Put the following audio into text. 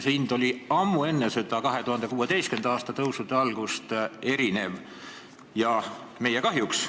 See hind oli ammu enne 2016. aasta tõusude algust erinev ja meie kahjuks.